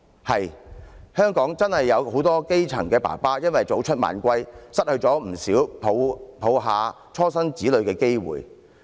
是的，香港真的有許多基層父親因為早出晚歸，失去不少懷抱初生子女的機會。